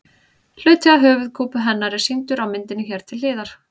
Hluti af höfuðkúpu hennar er sýndur á myndinni hér til hliðar.